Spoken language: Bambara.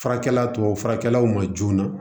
Furakɛli tɔw farakɛlaw ma joona